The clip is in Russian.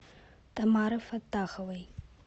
тамары фаттаховой